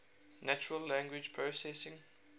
natural language processing